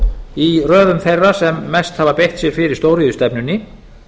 í röðum þeirra sem mest hafa beitt sér fyrir stóriðjustefnunni